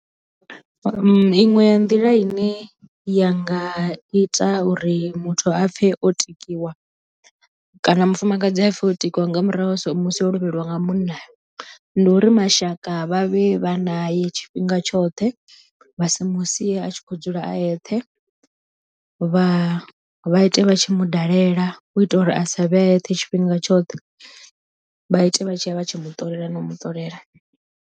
Iṅwe ya nḓila ine ya nga ita uri muthu a pfhe o tikiwa kana mufumakadzi a pfhe o tikiwa nga murahu ha so musi o lovheliwa nga munna ndi uri mashaka vha vhe vha na ye tshifhinga tshoṱhe vha si mu sie a tshi khou dzula a yeṱhe vha vha ite vha tshi mu dalela u itela uri a sa vhe a eṱhe tshifhinga tshoṱhe vha ite vha tshi ya vha tshi mu ṱolela na u mu ṱolela.